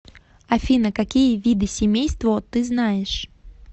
афина какие виды семейство ты знаешь